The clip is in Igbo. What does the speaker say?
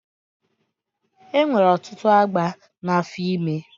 E nwere ọtụtụ agba n'afọ ime.